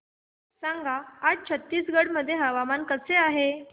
सांगा आज छत्तीसगड मध्ये हवामान कसे आहे